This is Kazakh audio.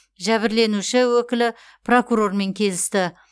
жәбірленуші өкілі прокурормен келісті